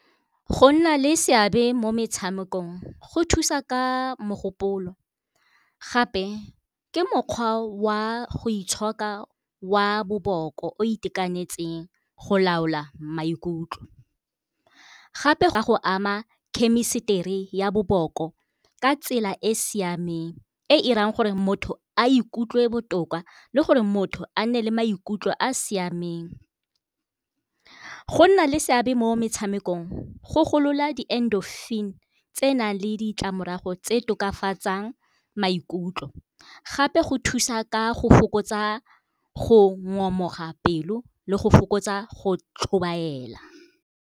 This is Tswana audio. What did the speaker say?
Go nna le seabe mo metshamekong go thusa ka mogopolo, gape ke mokgwa wa go itshoka wa boboko o itekanetseng go laola maikutlo. Gape go a go ama khemisitiri ya boboko ka tsela e e siameng, e irang gore motho a ikutlwe botoka le gore motho a nne le maikutlo a siameng. Go nna le seabe mo metshamekong go golola di-endorphin tse nang le ditlamorago tse tokafatsang maikutlo, gape go thusa ka go fokotsa go ngomoga pelo le go fokotsa go tlhobaela.